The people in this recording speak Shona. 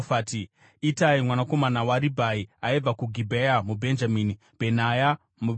Itai mwanakomana waRibhai aibva kuGibhea muBhenjamini, Bhenaya muPiratoni,